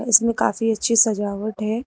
इसमें काफी अच्छी सजावट है।